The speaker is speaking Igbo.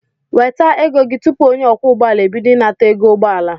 Weta ego gị tụpụ onye ọkwọ ụgbọala ebido ịnata ego ụgbọala